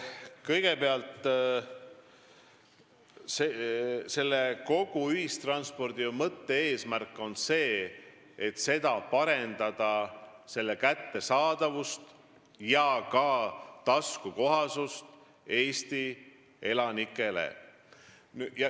Kõigepealt, kogu selle ühistranspordikorralduse mõte ja eesmärk on parandada ühistranspordi kättesaadavust ja ka taskukohasust Eesti elanikele.